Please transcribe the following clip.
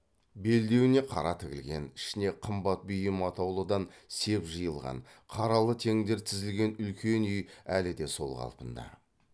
белдеуіне қара тігілген ішіне қымбат бұйым атаулыдан сеп жиылған қаралы теңдер тізілген үлкен үй әлі де сол қалпында